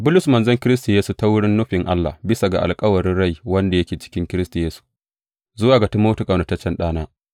Bulus, manzon Kiristi Yesu ta wurin nufin Allah, bisa ga alkawarin rai wanda yake cikin Kiristi Yesu, Zuwa ga Timoti, ƙaunataccen ɗana.